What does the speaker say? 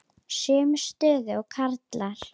Sömu stöðu og karlar.